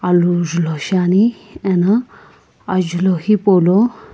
alu julhou shiani eno ajulhou hipaulo --